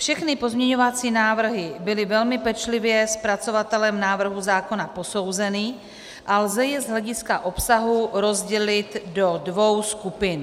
Všechny pozměňovací návrhy byly velmi pečlivě zpracovatelem návrhu zákona posouzeny a lze je z hlediska obsahu rozdělit do dvou skupin.